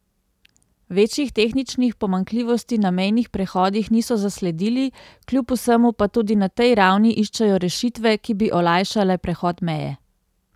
Večjih tehničnih pomanjkljivosti na mejnih prehodih niso zasledili, kljub vsemu pa tudi na tej ravni iščejo rešitve, ki bi olajšale prehod meje.